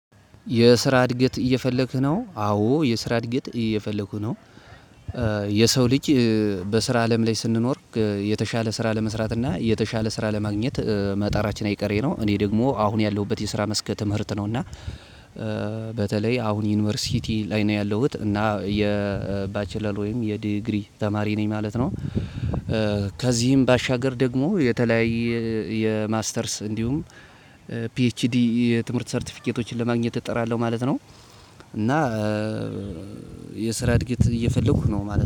የስራ እድገት እየፈለግህ ነው አዎ የስራ እድገት እየፈለኩ ነው የሰው ልጅ በስራ አለም ላይ ስንኖር የተሻለ ስራ ለመስራት እና የተሻለ ስራ ለማግኘት መጣራችን አይቀሬ ነው እኔ ደግሞ አሁን ያለሁበት የስራ መስክ ትምህርት ነው እና በተለይ አሁን ዩኒቨርሲቲ ነው ያለሁት እና የባችለር ወይም የዲግሪ ተማሪ ነኝ ማለት ነው። ከዚህም ባሻገር ደግሞ የተለያየ የማስተርስ እንዲሁም ፒችዲ የትምህርት ሰርቲፊኬቶችን ለማግኘት እጥራለሁ ማለት ነው። እና የስራ እድገት እየፈለኩ ነው ማለት ነው